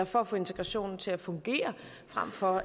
for at få integrationen til at fungere frem for